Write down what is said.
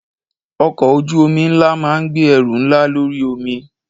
Ọkọ̀ ojú omi ńlá máa ń gbé ẹrù ńlá lórí omi.